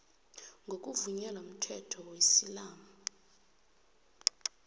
ngokuvunyelwa mthetho wesiislamu